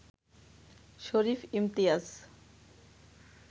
Sharif Imtiaz,